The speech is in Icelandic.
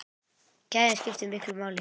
Gæðin skiptu miklu máli.